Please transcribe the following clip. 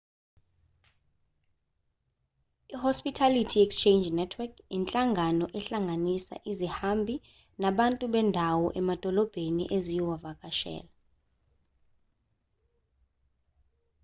i-hospitality exchange network inhlangano ehlanganisa izihambi nabantu bendawo emadolobheni eziyowavakashela